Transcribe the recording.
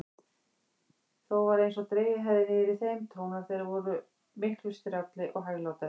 Þó var einsog dregið hefði niður í þeim: tónar þeirra vor miklu strjálli og hæglátari.